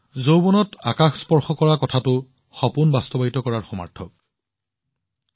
যৌৱনৰ বাবে আকাশ স্পৰ্শ কৰাটো সপোনবোৰ বাস্তৱায়িত কৰাৰ সমাৰ্থকৰ দৰে